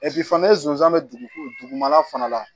fana ni zonzan bɛ dugu mana fana la